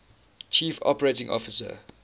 chief operating officer